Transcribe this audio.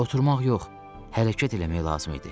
Oturmaq yox, hərəkət eləmək lazım idi.